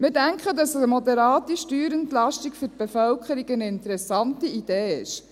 Wir denken, dass eine moderate Steuerentlastung eine interessante Idee für die Bevölkerung ist.